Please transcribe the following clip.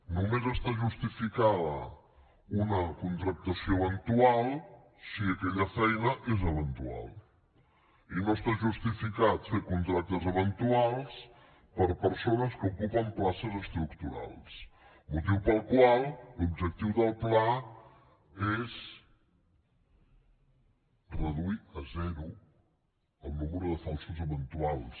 només està justificada una contractació eventual si aquella feina és eventual i no està justificat fer contractes eventuals per a persones que ocupen places estructurals motiu pel qual l’objectiu del pla és reduir a zero el número de falsos eventuals